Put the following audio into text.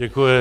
Děkuji.